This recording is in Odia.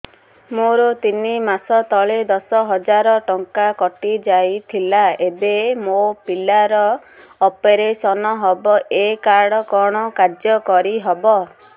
ମୋର ତିନି ମାସ ତଳେ ଦଶ ହଜାର ଟଙ୍କା କଟି ଯାଇଥିଲା ଏବେ ମୋ ପିଲା ର ଅପେରସନ ହବ ଏ କାର୍ଡ କଣ କାର୍ଯ୍ୟ କାରି ହବ